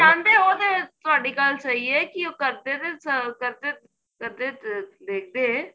ਜਾਂਦੇ ਓ ਤੇ ਤੁਹਾਡੀ ਗੱਲ ਸਹੀ ਏ ਉਹ ਕਰਦੇ ਨੇ ਕਰਦੇ ਦੇਖਦੇ